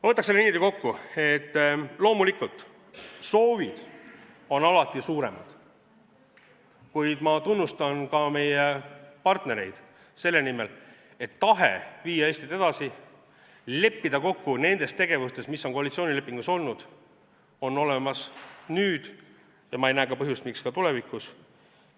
Ma võtaks selle niimoodi kokku, et loomulikult on soovid alati suuremad, kuid ma tunnustan ka meie partnereid selle eest, et tahe viia Eestit edasi, leppida kokku nendes tegevustes, mis on koalitsioonilepingus olnud, on olemas nüüd ja ma ei näe põhjust miks mitte ka tulevikus.